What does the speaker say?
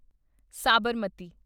Sabarmati